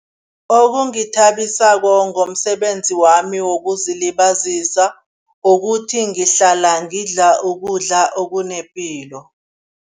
Okungithabisako ngomsebenzi wami wokuzilibazisa ukuthi, ngihlala ngidla ukudla okunepilo.